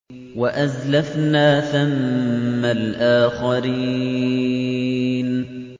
وَأَزْلَفْنَا ثَمَّ الْآخَرِينَ